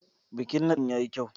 Bikin nadin ya yi kyau.